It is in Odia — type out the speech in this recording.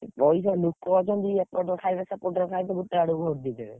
ପଇସା ଲୋକ ଅଛନ୍ତି ଏପଟରୁ ଖାଇବେ ସେପଟରୁ ଖାଇବେ ଗୋଟେ ଆଡେ vote ଦେଇଦେବେ।